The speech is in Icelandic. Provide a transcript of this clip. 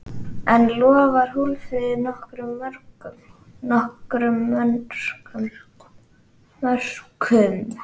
En lofar Hólmfríður nokkrum mörkum?